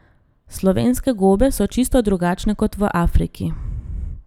Slovenske gobe so čisto drugačne kot v Afriki.